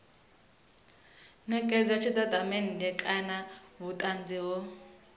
netshedza tshitatamennde kana vhutanzi ho